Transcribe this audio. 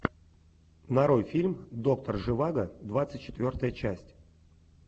нарой фильм доктор живаго двадцать четвертая часть